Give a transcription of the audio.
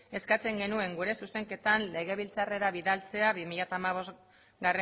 eskatzen genuen gure zuzenketan legebiltzarrera bidaltzea bi mila hamabostgarrena